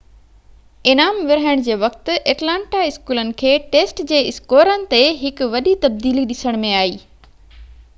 انعام ورهائڻ جي وقت ايٽلانٽا اسڪولن کي ٽيسٽ جي اسڪورن تي هڪ وڏي تبديلي ڏسڻ ۾ آئي